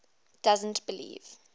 doesn t believe